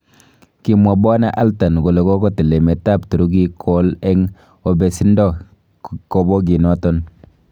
Kimwa bw Altun kole kogotil emet ab Turukiik kowol en obesindo kobokinoton.